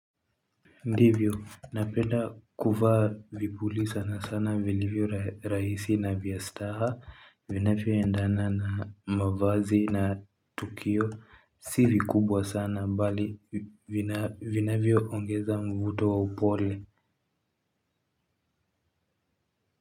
Ndivyo, napenda kuvaa vipuli sana sana vilivyo rahisi na vya staha, vinavyoendana na mavazi na tukio, si vikubwa sana mbali, vinavyoongeza mvuto wa upole.